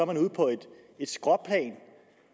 man ude på et skråplan